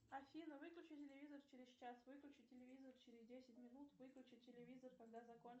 афина выключи телевизор через час выключи телевизор через десять минут выключи телевизор когда закончится